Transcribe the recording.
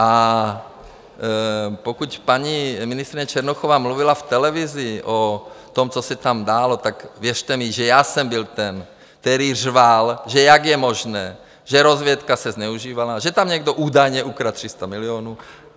A pokud paní ministryně Černochová mluvila v televizi o tom, co se tam dělo, tak věřte mi, že já jsem byl ten, který řval, že jak je možné, že rozvědka se zneužívala, že tam někdo údajně ukradl 300 milionů.